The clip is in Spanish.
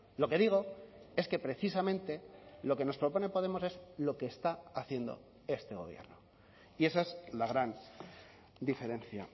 lo que digo es que precisamente lo que nos propone podemos es lo que está haciendo este gobierno y esa es la gran diferencia